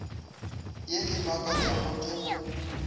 ye e makatšago ke go